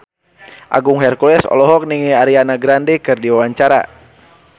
Agung Hercules olohok ningali Ariana Grande keur diwawancara